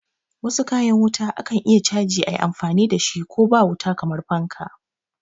Wasu kayan wuta akan iya chaji ayi amfani dashi ko ba wuta kamar fanka